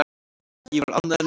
Ég var ánægður með liðið.